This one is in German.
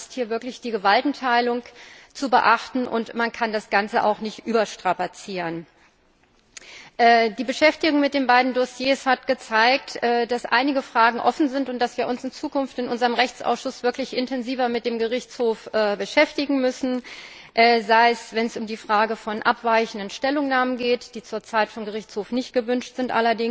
Aber es ist hier wirklich die Gewaltenteilung zu beachten, und man kann das Ganze auch nicht überstrapazieren. Die Beschäftigung mit den beiden Dossiers hat gezeigt, dass einige Fragen offen sind und dass wir uns in Zukunft in unserem Rechtsausschuss wirklich intensiver mit dem Gerichtshof beschäftigen müssen, wenn es um die Frage von abweichenden Stellungnahmen geht, die zur Zeit allerdings vom Gerichtshof nicht gewünscht sind,